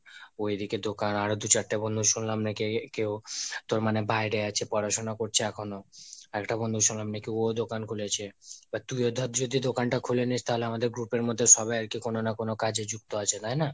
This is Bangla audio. ও এদিকে দোকান, আরো দু চারটা বন্ধু শুনলাম নাকি কেউ তোর মানে বাইরে আছে, পড়াশোনা করছে এখনো, আরেকটা বন্ধু শুনলাম নাকি ও দোকান খুলেছে, বা তুইও ধর যদি দোকান তা খুলে নিস তাহলে আমাদের group এর মধ্যে সবাই আরকি কোনো না কোনো কাজে যুক্ত আছে তাইনা?